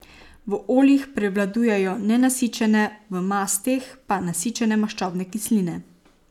V oljih prevladujejo nenasičene, v masteh pa nasičene maščobne kisline.